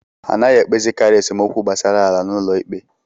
Anaghị ekpezikari esemokwu gbasara ala n'ụlọ ikpe.